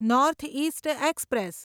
north East express